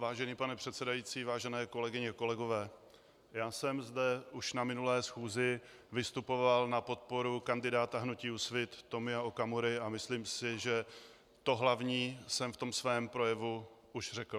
Vážený pane předsedající, vážené kolegyně a kolegové, já jsem zde už na minulé schůzi vystupoval na podporu kandidáta hnutí Úsvit Tomia Okamury a myslím si, že to hlavní jsem v tom svém projevu už řekl.